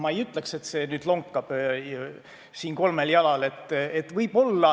Ma ei ütleks, et see lonkab kolmel jalal.